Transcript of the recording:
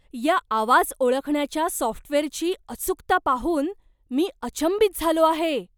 या आवाज ओळखण्याच्या सॉफ्टवेअरची अचूकता पाहून मी अचंबित झालो आहे.